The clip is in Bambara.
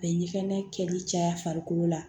A bɛ ɲɛgɛnɛ kɛli caya farikolo la